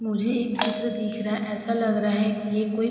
मुझे एक चित्र दिख रहा है। ऐसा लग रहा कि ये कोई --